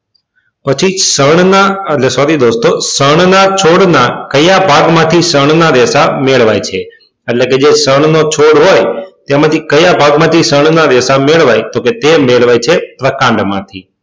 પછી ષણ ના એટલે sorry દોસ્તો ષણ ના છોડ ના કયા ભાગ માં થી ષણ ના રેશા મેળવાય છે એટલે કે જે ષણ નો છોડ હોય તેમાંથી કયા ભાગ માંથી ષણ ના રેશા મેળવાય તો કે તે મેળવાય છે વાકાંડ માં થી